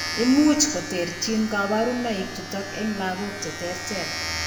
Imuch koterchin kaborunoik chutok eng' lagok cheterter